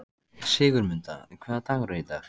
Sigurmunda, hvaða dagur er í dag?